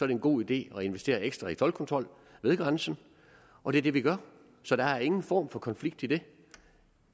det en god idé at investere ekstra i toldkontrol ved grænsen og det er det vi gør så der er ingen form for konflikt i det